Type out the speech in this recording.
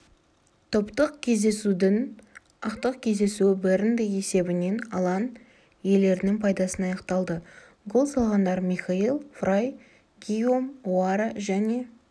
топтық кезеңнің ақтық кездесуі бернде есебінен алаң иелерінің пайдасына аяқталды гол салғандармихаил фрай гийом оаро және